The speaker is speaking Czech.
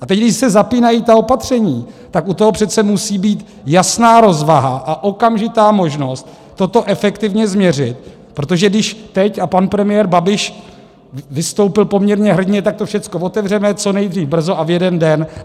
A teď když se zapínají ta opatření, tak u toho přece musí být jasná rozvaha a okamžitá možnost toto efektivně změřit, protože když teď, a pan premiér Babiš vystoupil poměrně hrdinně - tak to všechno otevřeme, co nejdřív, brzo a v jeden den.